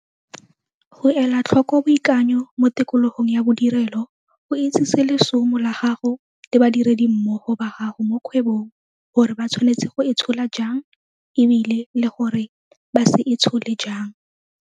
Go ela tlhoko boikanyo mo tikologong ya bodirelo go itsise lesomo la gago le badiredimmogo ba gago mo kgwebong gore ba tshwanetse go itshola jang e bile le gore ba se itshole jang.